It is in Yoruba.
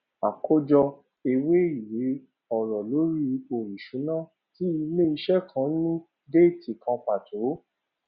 àkójọ ewé ìwé ọrọ lórí ipò ìṣúná tí ilẹ ìṣe kan ní déètì kan pàtó